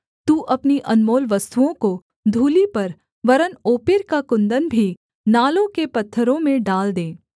तू अपनी अनमोल वस्तुओं को धूलि पर वरन् ओपीर का कुन्दन भी नालों के पत्थरों में डाल दे